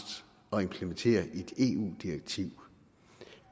at implementere et eu direktiv